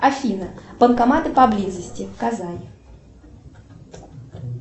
афина банкоматы поблизости казань